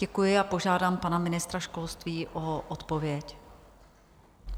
Děkuji a požádám pana ministra školství o odpověď.